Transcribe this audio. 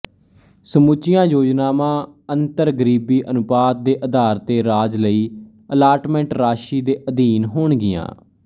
ਸਮੁੱਚੀਆਂ ਯੋਜਨਾਵਾਂ ਅੰਤਰਗਰੀਬੀ ਅਨੁਪਾਤ ਦੇ ਆਧਾਰ ਤੇ ਰਾਜ ਲਈ ਅਲਾਟਮੈਂਟ ਰਾਸ਼ੀ ਦੇ ਅਧੀਨ ਹੋਣਗੀਆਂ